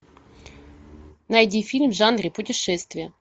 найди фильм в жанре путешествия